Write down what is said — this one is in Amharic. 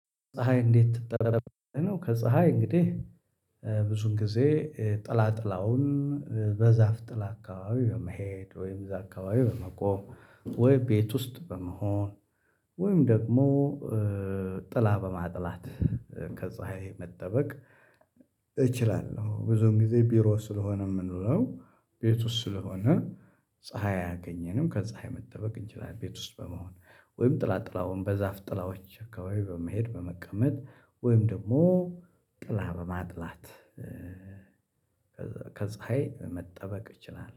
ፀሀይ እንዴት ትጠለላለህ ነው? ከፀሀይ እንግዲህ ብዙዉን ጊዜ ጥላ ጥላውን በዛፍ ጥላ አካባቢ በመሄድ ወይ እዛ አካባቢ ወይ በመቆም ወይ ቤት ውስጥ በመሆን ወይም ደግሞ ጥላ በማጥላት ከፀሀይ መጠበቅ። እችላለሁ ብዙ ጊዜ ቢሮ ስለሆነ የምንውለው ቤቱ ስለሆነ ፀሀይ አያገኘንም ከፀሀይ መጠበቅ እንችላለን። ቤት ውስጥ በመሆን ወይም ጥላጥላውን በዛፍ ጥላዎች አካባቢ በመሄድ በመቀመጥ ወይም ደግሞ ጥላ በማጥላት ከፀሀይ መጠበቅ እችላለሁ